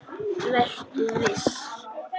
Vertu viss.